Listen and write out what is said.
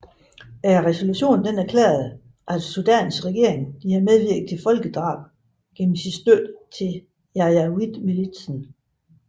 Resolutionen erklærede at Sudans regering havde medvirket til folkedrab gennem sin støtte til janjaweedmilitsen